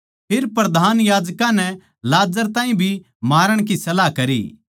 फेर प्रधान याजकां नै लाजर ताहीं भी मारण की सलाह करी